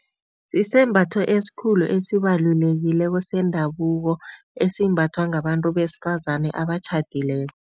Sisembatho esikhulu esibalulekileko sendabuko esimbathwa ngabantu besifazane abatjhadileko.